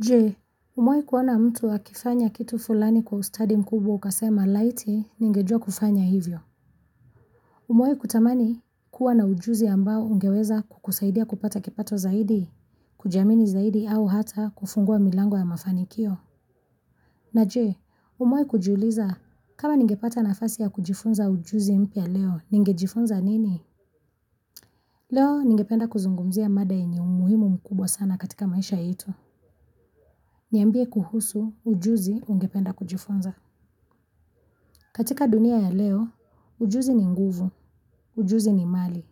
Je, umewahi kuona mtu akifanya kitu fulani kwa ustadi mkubwa ukasema laiti ningejua kufanya hivyo. Umewahi kutamani kuwa na ujuzi ambao ungeweza kukusaidia kupata kipato zaidi, kujiamini zaidi au hata kufungua milango ya mafanikio. Na je, umewahi kujiuliza, kama ningepata nafasi ya kujifunza ujuzi mpya leo, ningejifunza nini? Leo, ningependa kuzungumzia mada yenye umuhimu mkubwa sana katika maisha yetu. Niambie kuhusu ujuzi ungependa kujifunza. Katika dunia ya leo, ujuzi ni nguvu, ujuzi ni mali.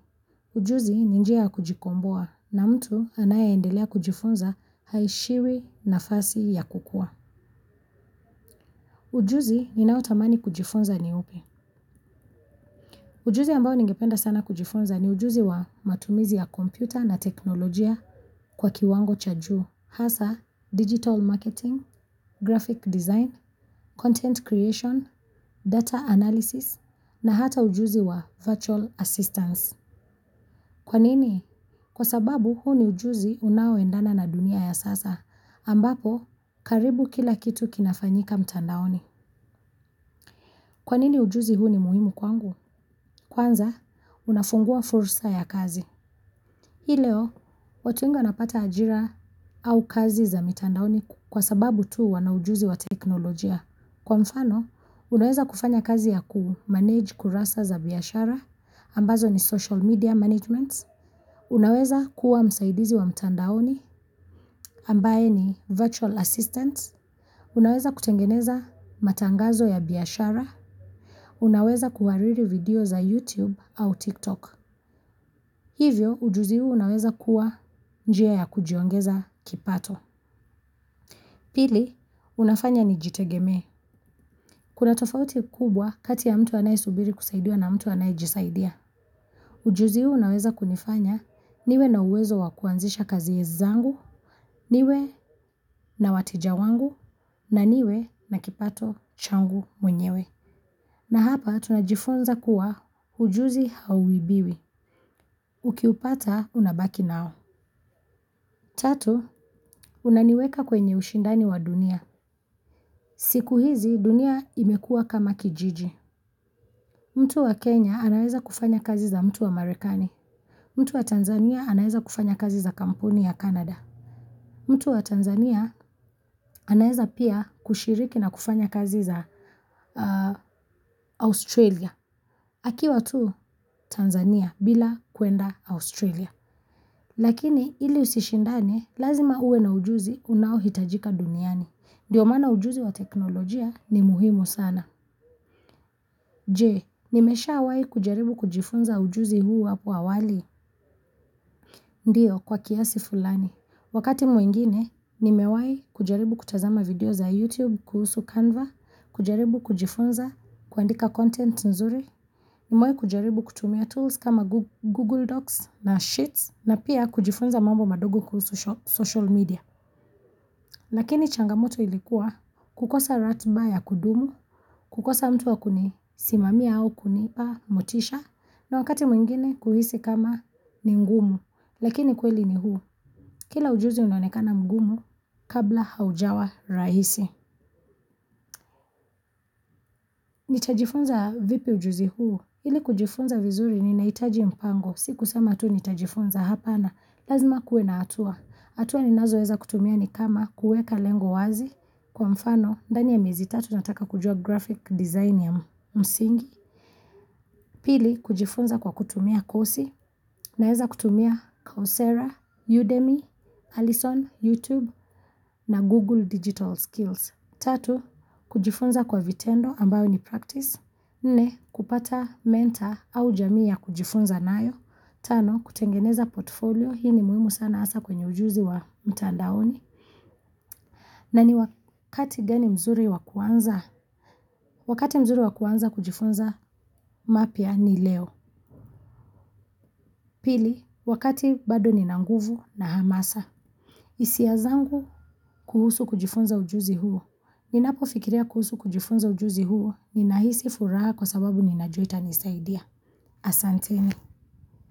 Ujuzi ni njia ya kujikomboa na mtu anaye endelea kujifunza haishiwi nafasi ya kukua. Ujuzi ninao tamani kujifunza ni upi. Ujuzi ambao ningependa sana kujifunza ni ujuzi wa matumizi ya kompyuta na teknolojia kwa kiwango cha juu. Hasa digital marketing, graphic design, content creation, data analysis, na hata ujuzi wa virtual assistance. Kwa nini? Kwa sababu huu ni ujuzi unaoendana na dunia ya sasa, ambapo karibu kila kitu kinafanyika mtandaoni. Kwa nini ujuzi huu ni muhimu kwangu? Kwanza, unafungua fursa ya kazi. Hilo, watu wengi wanapata ajira au kazi za mitandaoni kwa sababu tu wana ujuzi wa teknolojia. Kwa mfano, unaweza kufanya kazi ya kumanage kurasa za biashara, ambazo ni social media management. Unaweza kuwa msaidizi wa mitandaoni, ambaye ni virtual assistants. Unaweza kutengeneza matangazo ya biyashara. Unaweza kuhariri video za YouTube au TikTok. Hivyo ujuzi huu unaweza kuwa njia ya kujiongeza kipato. Pili, unafanya nijitegemee. Kuna tofauti kubwa kati ya mtu anaesubiri kusaidiwa na mtu anae jisaidia. Ujuzi huu unaweza kunifanya niwe na uwezo wakuanzisha kazi zangu, niwe na wateja wangu, na niwe na kipato changu mwenyewe. Na hapa tunajifunza kuwa ujuzi hauibiwi. Ukiupata, unabaki nao. Tatu, unaniweka kwenye ushindano wa dunia. Siku hizi dunia imekua kama kijiji. Mtu wa Kenya anaeza kufanya kazi za mtu wa marekani. Mtu wa Tanzania anaeza kufanya kazi za kampuni ya canada. Mtu wa Tanzania anaeza pia kushiriki na kufanya kazi za Australia. Akiwa tu Tanzania bila kuenda Australia. Lakini ili usishindane, lazima uwe na ujuzi unao hitajika duniani. Ndio maana ujuzi wa teknolojia ni muhimu sana. Je, nimeshawahi kujaribu kujifunza ujuzi huu hapo awali. Ndiyo, kwa kiasi fulani. Wakati mwingine, nimewahi kujaribu kutazama video za YouTube, kuhusu Canva, kujaribu kujifunza, kuandika content nzuri. Nimewahi kujaribu kutumia tools kama Google Docs na Sheets na pia kujifunza mambo madogo kuhusu social media. Lakini changamoto ilikuwa kukosa ratiba ya kudumu, kukosa mtu wa kunisimamia au kunipa motisha na wakati mwingine kuhisi kama ni ngumu. Lakini ukweli ni huu, kila ujuzi unaonekana mgumu kabla haujawa rahisi. Nitajifunza vipi ujuzi huu, ili kujifunza vizuri ninahitaji mpango, si kusema tu nitajifunza hapa na lazima kuwe na hatua. Hatua ninazo weza kutumia ni kama kuweka lengo wazi kwa mfano, ndani ya miezi tatu nataka kujua graphic design ya msingi. Pili, kujifunza kwa kutumia kosi naeza kutumia Coursera, Udemy, Allison, YouTube na Google Digital Skills. Tatu, kujifunza kwa vitendo ambayo ni practice. Nne, kupata mentor au jamii ya kujifunza nayo. Tano, kutengeneza portfolio. Hii ni muhimu sana hasa kwenye ujuzi wa mtandaoni. Na ni wakati gani mzuri wa kuanza. Wakati mzuri wa kuanza kujifunza mapya ni leo. Pili, wakati bado ni nina nguvu na hamasa. Hisia zangu kuhusu kujifunza ujuzi huo. Ninapo fikiria kuhusu kujifunza ujuzi huo ni nahisi furaha kwa sababu ninajua itanisaidia. Asante ni.